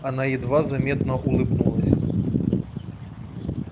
она едва заметно улыбнулась